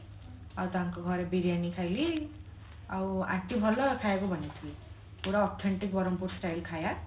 ଆଉ ତାଙ୍କ ଘରେ ବିରିୟାନୀ ଖାଇଲି ଆଉ aunty ଭଲ ଖାଇବାକୁ ବନେଇଥିଲେ ପୁରା authentic ବ୍ରହ୍ମପୁର style ଖାଇବା